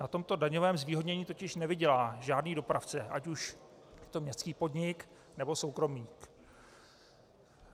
Na tomto daňovém zvýhodnění totiž nevydělá žádný dopravce, ať už je to městský podnik, nebo soukromník.